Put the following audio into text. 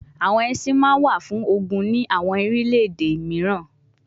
Awọn ẹṣin ma wa fun ogun ni awọn orilẹ-ede miiran